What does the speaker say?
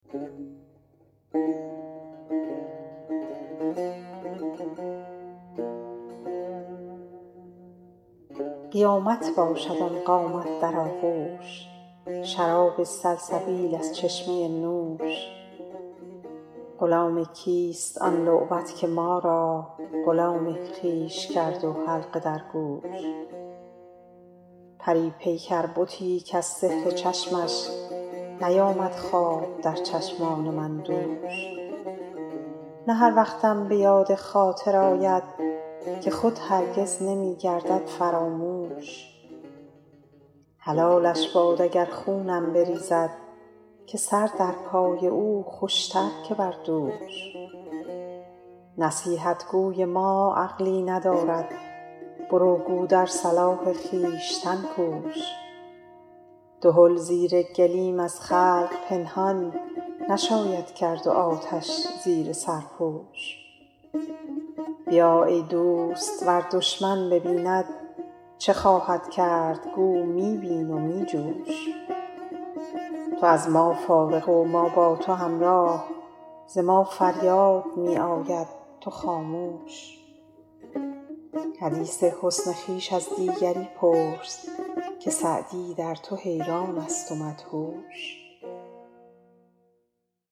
قیامت باشد آن قامت در آغوش شراب سلسبیل از چشمه نوش غلام کیست آن لعبت که ما را غلام خویش کرد و حلقه در گوش پری پیکر بتی کز سحر چشمش نیامد خواب در چشمان من دوش نه هر وقتم به یاد خاطر آید که خود هرگز نمی گردد فراموش حلالش باد اگر خونم بریزد که سر در پای او خوش تر که بر دوش نصیحت گوی ما عقلی ندارد برو گو در صلاح خویشتن کوش دهل زیر گلیم از خلق پنهان نشاید کرد و آتش زیر سرپوش بیا ای دوست ور دشمن ببیند چه خواهد کرد گو می بین و می جوش تو از ما فارغ و ما با تو همراه ز ما فریاد می آید تو خاموش حدیث حسن خویش از دیگری پرس که سعدی در تو حیران است و مدهوش